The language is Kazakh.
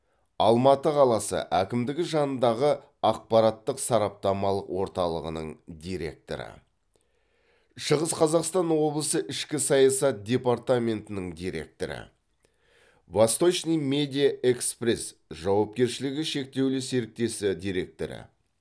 алматы қаласы әкімдігі жанындағы ақпараттық сараптамалық орталығының директоры шығыс қазақстан облысы ішкі саясат департаментінің директоры восточный медиа экспресс жауапкершілігі шектеулі серіктесі директоры